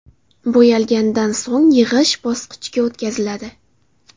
Bo‘yalganidan so‘ng yig‘ish bosqichiga o‘tkaziladi.